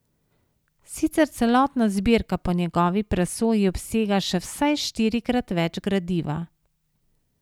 Sicer celotna zbirka po njegovi presoji obsega še vsaj štirikrat več gradiva.